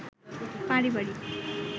পারিবারিক